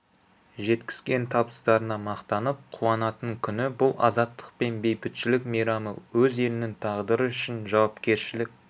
жеткізген табыстарына мақтанып қуанатын күні бұл азаттық пен бейбітшілік мейрамы өз елінің тағдыры үшін жауапкершілік